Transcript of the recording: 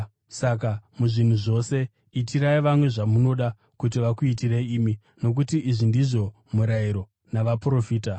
Saka muzvinhu zvose itirai vamwe zvamunoda kuti vakuitirei imi, nokuti izvi ndizvo Murayiro naVaprofita.